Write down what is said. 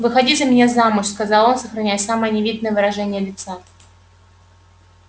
выходи за меня замуж сказал он сохраняя самое невинное выражение лица